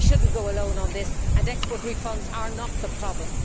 We should not go alone on this, and export refunds are not the problem.